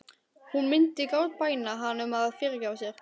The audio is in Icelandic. Hún myndi grátbæna hann um að fyrirgefa sér.